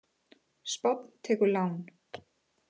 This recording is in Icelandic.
Spánn tekur lán